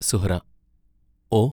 Suhra ഓ!